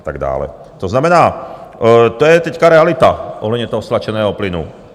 To znamená, to je teď realita ohledně toho stlačeného plynu.